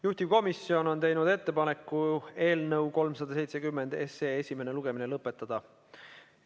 Juhtivkomisjon on teinud ettepaneku eelnõu 370 lugemine lõpetada.